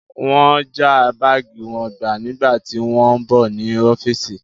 Wọ́n já báàgì wọn gbà nígbà tí wọ́n ń bọ̀ ní ọ́fíìsì.